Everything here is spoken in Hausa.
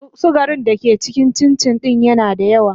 sugari da ke cikin cincin din yana da yawa.